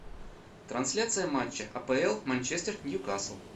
трансляция матча апл манчестер нью касл